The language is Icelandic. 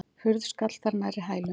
Hurð skall þar nærri hælum.